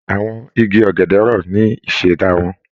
Àwọn igi ọ̀gẹ̀dẹ̀ rọ̀ ní ìṣẹ̀dá wọn